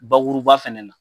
Bakuruba fɛnɛ na.